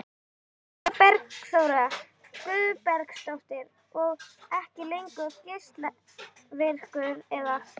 Eva Bergþóra Guðbergsdóttir: Og ekki lengur geislavirkur eða?